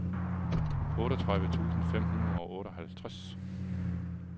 otteogtredive tusind fem hundrede og otteoghalvtreds